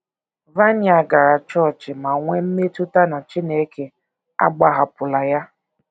Vania gara chọọchị ma nwee mmetụta na Chineke agbahapụla ya.